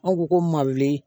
An ko ko ma weele